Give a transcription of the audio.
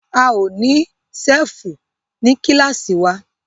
A ó ní ṣẹ́fù ní kílàsì wa.